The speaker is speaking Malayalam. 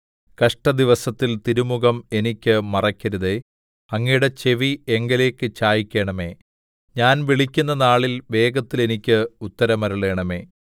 കഷ്ടദിവസത്തിൽ തിരുമുഖം എനിക്ക് മറയ്ക്കരുതേ അങ്ങയുടെ ചെവി എങ്കലേക്ക് ചായിക്കണമേ ഞാൻ വിളിക്കുന്ന നാളിൽ വേഗത്തിൽ എനിക്ക് ഉത്തരമരുളണമേ